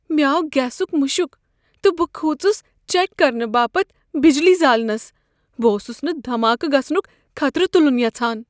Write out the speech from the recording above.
مےٚ آو گیسک مشک تہٕ بہٕ كھوٗژس چیک کرنہٕ باپتھ بجلی زالنس۔ بہٕ اوسس نہٕ دھماكہٕ گژھنك خطرٕ تلن یژھان۔